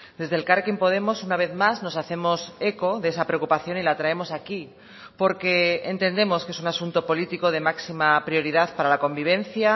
desde elkarrekin podemos una vez más nos hacemos eco de esa preocupación y la traemos aquí porque entendemos que es un asunto político de máxima prioridad para la convivencia